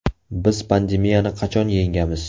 Biz pandemiyani qachon yengamiz?